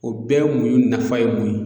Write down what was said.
O bɛɛ ye muɲun nafa ye mun ye?